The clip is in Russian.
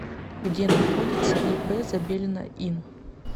где находится ип забелина ин